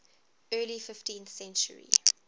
early fifteenth century